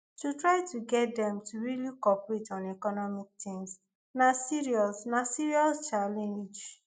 to try to get dem to really cooperate on economic things na serious na serious challenge